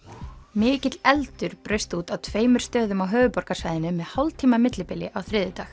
mikill eldur braust út á tveimur stöðum á höfuðborgarsvæðinu með hálftíma millibili á þriðjudag